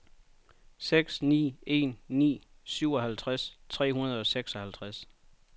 seks ni en ni syvoghalvtreds tre hundrede og seksoghalvtreds